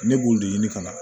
Ne b'o de ɲini ka na